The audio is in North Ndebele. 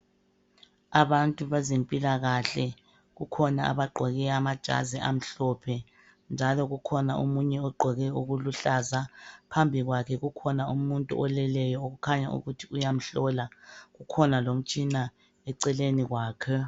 Abantu bezempilakahle, kukhona abagqoke amajazi amhlophe njalo kukhona omunye ogqoke okuluhlaza phambi kwakhe kukhona umuntu oleleyo okukhanya ukuthi uyamhlola, kukhona lomtshina eceleni kwakhe.